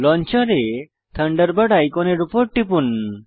লঞ্চারে Thunderbird আইকনের উপর টিপুন